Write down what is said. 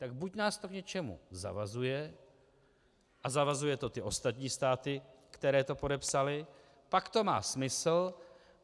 Tak buď nás to k něčemu zavazuje a zavazuje to ty ostatní státy, které to podepsaly, pak to má smysl.